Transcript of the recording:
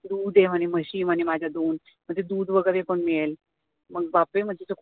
दूध आहे म्हणे म्हशी आहे माझ्या दोन, म्हणजे दूध वगैरे पण मिळेल मग बापरे म्हंटल